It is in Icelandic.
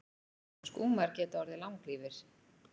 Skúmar geta orðið langlífir.